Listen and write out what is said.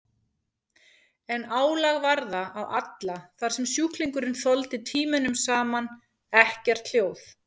En álag var það á alla þar sem sjúklingurinn þoldi tímunum saman ekkert hljóð.